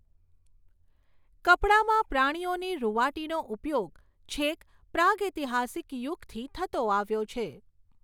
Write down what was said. કપડાંમાં પ્રાણીઓની રૂંવાટીનો ઉપયોગ છેક પ્રાગૈતિહાસિક યુગથી થતો આવ્યો છે.